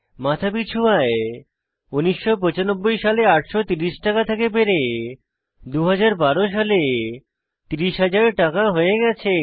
মাথাপিছু আয় 1995 সালে 830 টাকা থেকে বেড়ে 2012 সালে 30000 টাকা হয়ে গেছে